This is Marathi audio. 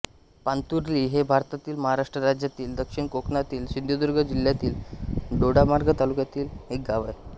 पांतुर्ली हे भारतातील महाराष्ट्र राज्यातील दक्षिण कोकणातील सिंधुदुर्ग जिल्ह्यातील दोडामार्ग तालुक्यातील एक गाव आहे